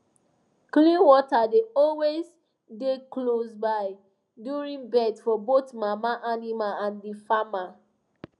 clean water dey always dey close by during birth for both mama animal and the farmer